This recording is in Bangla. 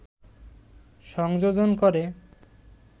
সংযোজন করে